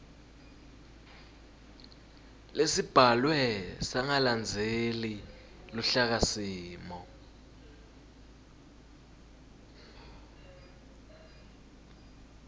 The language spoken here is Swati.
lesibhalwe sangalandzeli luhlakasimo